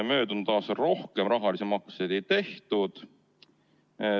Möödunud aastal rohkem rahalisi makseid ei tehtud.